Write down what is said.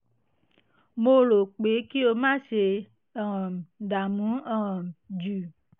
mo rọ̀ ọ́ pé kí o má ṣe um dààmú um jù